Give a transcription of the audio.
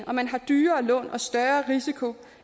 og man har dyrere lån og større risiko